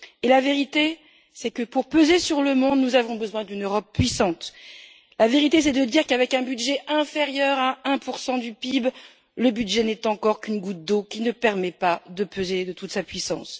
Dire la vérité, c'est déclarer que pour peser sur le monde, nous avons besoin d'une Europe puissante, c'est affirmer qu'avec un budget inférieur à 1 du PIB, le budget n'est encore qu'une goutte d'eau qui ne permet pas de peser de toute sa puissance.